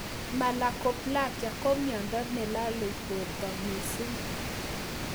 Malakoplakia ko miondo ne lalei porto mising